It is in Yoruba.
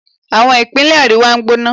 Àwọn ìpínlẹ̀ àríwá gbóná